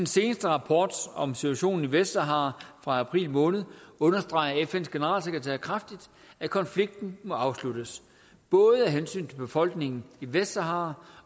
seneste rapport om situationen i vestsahara fra april måned understreger fns generalsekretær kraftigt at konflikten må afsluttes både af hensyn til befolkningen i vestsahara